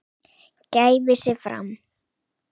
gæfi sig fram.